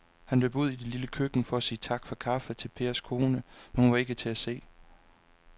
Han løb ud i det lille køkken for at sige tak for kaffe til Pers kone, men hun var ikke til at se.